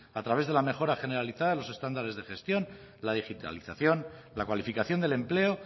a través de la mejora generalizada de los estándares de gestión la digitalización la cualificación del empleo